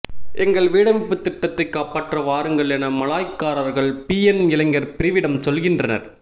எங்கள் வீடமைப்புத் திட்டத்தைக் காப்பாற்ற வாருங்கள் என மலாய்க்காரர்கள் பிஎன் இளைஞர் பிரிவிடம் சொல்கின்றனர்